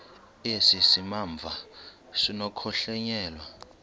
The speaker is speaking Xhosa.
esi simamva sinokuhlonyelwa